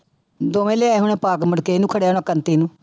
ਦੋਵੇਂ ਲਿਆਏ ਹੋਣੇ ਪਾ ਕੇ ਮੁੜਕੇ ਇਹਨੂੰ ਖੜਾ ਨੂੰ